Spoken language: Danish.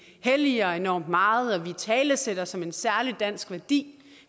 helliger os enormt meget og italesætter som en særlig dansk værdi